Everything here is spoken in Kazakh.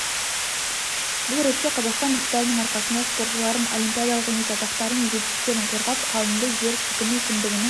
бұл ретте қазақстан ықпалының арқасында спортшылардың олимпиадалық емес атақтары мен жетістіктерін қорғап қалынды жер сілкіну кіндігінің